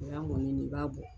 O ya kɔni nin b'a bɔ.